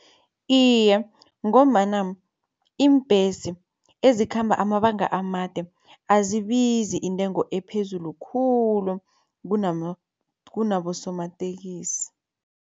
Iye, ngombana iimbhesi ezikhamba amabanga amade azibizi intengo ephezulu khulu kunabosomatekisi.